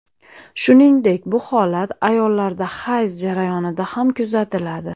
Shuningdek, bu holat ayollarda hayz jarayonida ham kuzatiladi.